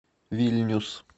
вильнюс